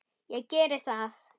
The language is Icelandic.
Ég geri það